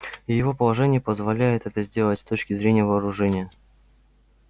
и его положение позволяет это сделать с точки зрения вооружения